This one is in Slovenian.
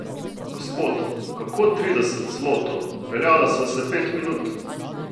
Gospod, kako trideset zlotov, peljala sva se pet minut!